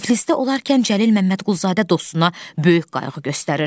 Tiflisdə olarkən Cəlil Məmmədquluzadə dostuna böyük qayğı göstərir.